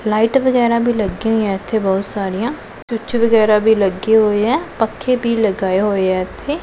Light ਵਗੈਰਾ ਭੀ ਲੱਗਿਆਂ ਹੋਈਆਂ ਇੱਥੇ ਬਹੁਤ ਸਾਰੀਆਂ ਸਵਿੱਚ ਵਗੈਰਾ ਵੀ ਲੱਗੇ ਹੋਏ ਐ ਪੱਖੇ ਭੀ ਲਗਾਏ ਹੋਏ ਐ ਇੱਥੇ।